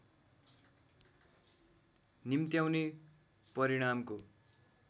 निम्त्याउने परिणामको